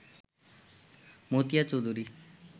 Matia Chowdhury